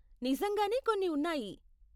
నిజంగానే కొన్ని ఉన్నాయి.